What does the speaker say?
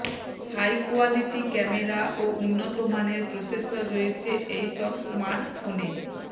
high quality camera ও উন্নতমানের processor রয়েছে এই সব স্মার্টফোনে